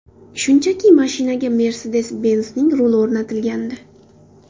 Shunchaki mashinaga Mercedes-Benz’ning ruli o‘rnatilgandi.